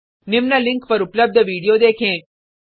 निम्न लिंक पर उपलब्ध विडिओ देखें